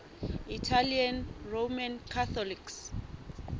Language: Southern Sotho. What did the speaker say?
italian roman catholics